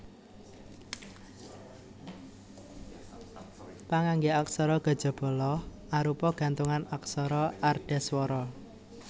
Pangangge aksara kajaba La arupa gantungan aksara ardhaswara